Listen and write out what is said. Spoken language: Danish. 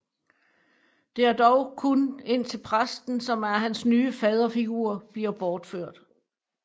Det er dog kun indtil præsten som er hans nye faderfigur bliver bortført